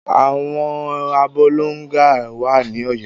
Ẹ̀wọn Abolongo wà ní Ọ̀yọ́.